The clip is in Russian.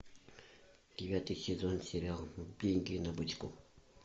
девятый сезон сериал деньги на бочку